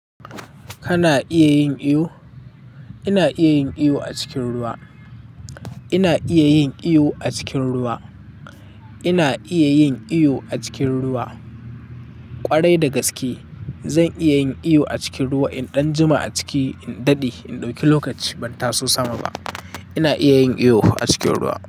Kana iya yin iyo? Ina iya yin iyo a cikin ruwa. Ina iya yin iyo a cikin ruwa. Ina iya yin iyo a cikin ruwa ƙwarai da gaske. Zan iya yin iyo a cikin ruwa in ɗan jima a ciki, in daɗe, in ɗauki lokaci ban taso sama ba. Ina iya yin iyo a cikin ruwa.